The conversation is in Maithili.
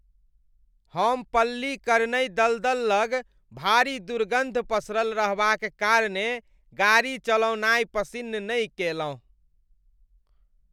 हम पल्लीकरनई दलदल लग भारी दुर्गन्ध पसरल रहबाक कारणेँ गाड़ी चलौनाइ पसिन्न नहि कएलहुँ।